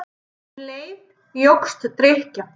Um leið jókst drykkjan.